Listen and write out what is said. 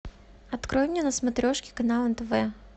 открой мне на смотрешке канал нтв